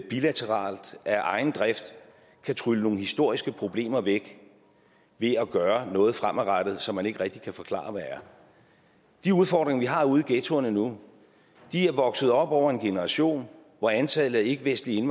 bilateralt af egen drift kan trylle nogle historiske problemer væk ved at gøre noget fremadrettet som man ikke rigtig kan forklare hvad er de udfordringer vi har ude i ghettoerne nu er vokset op over en generation hvor antallet af ikkevestlige